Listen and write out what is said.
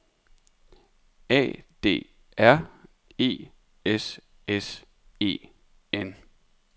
A D R E S S E N